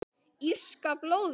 Írska blóðið?